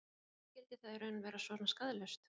En skyldi það í raun vera svona skaðlaust?